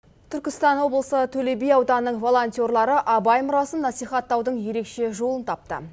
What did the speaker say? түркістан облысы төле би ауданының волонтерлары абай мұрасын насихаттаудың ерекше жолын тапты